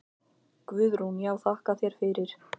Guðrún: Já þakka þér fyrir.